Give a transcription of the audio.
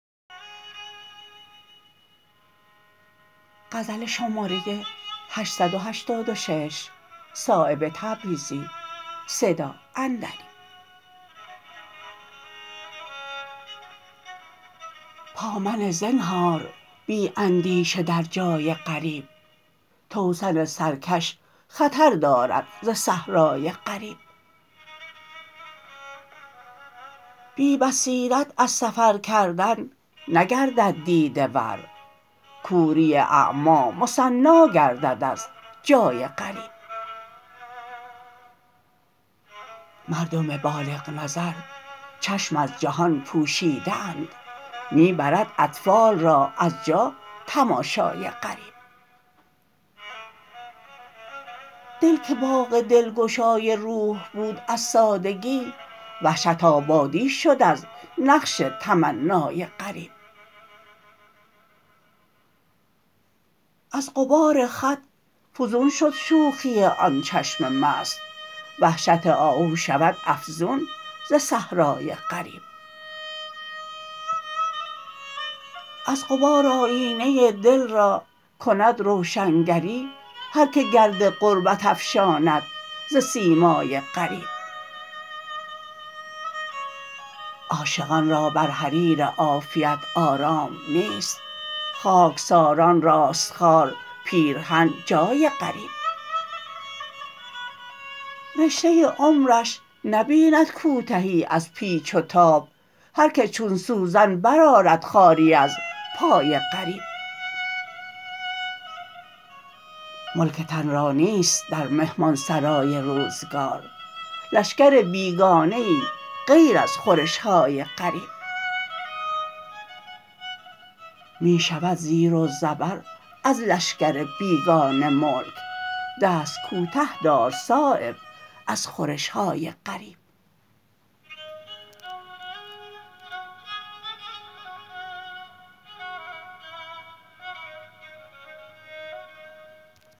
پا منه زنهار بی اندیشه در جای غریب توسن سرکش خطر دارد ز صحرای غریب بی بصیرت از سفر کردن نگردد دیده ور کوری اعمی مثنی گردد از جای غریب مردم بالغ نظر چشم از جهان پوشیده اند می برد اطفال را از جا تماشای غریب دل که باغ دلگشای روح بود از سادگی وحشت آبادی شد از نقش تمنای غریب از غبار خط فزون شد شوخی آن چشم مست وحشت آهو شود افزون ز صحرای غریب از غبار آیینه دل را کند روشنگری هر که گرد غربت افشاند ز سیمای غریب عاشقان را بر حریر عافیت آرام نیست خاکساران راست خار پیرهن جای غریب رشته عمرش نبیند کوتهی از پیچ و تاب هر که چون سوزن برآرد خاری از پای غریب ملک تن را نیست در مهمانسرای روزگار لشکر بیگانه ای غیر از خورش های غریب می شود زیر و زبر از لشکر بیگانه ملک دست کوته دار صایب از خورش های غریب